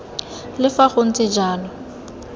le fa go ntse jalo